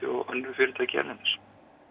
og önnur fyrirtæki erlendis